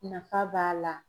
Nafa b'a la.